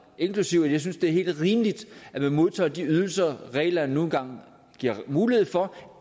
inklusive at jeg synes det er helt rimeligt at man modtager de ydelser reglerne nu en gang giver mulighed for